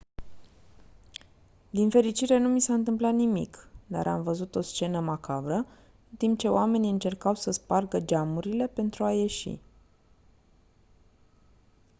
din fericire nu mi s-a întâmplat nimic dar am văzut o scenă macabră în timp ce oamenii încercau să spargă geamurile pentru a ieși